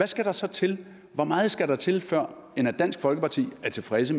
skal der så til hvor meget skal der til før dansk folkeparti er tilfreds